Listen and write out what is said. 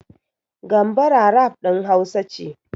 Gambara rap ɗin Hausa ce.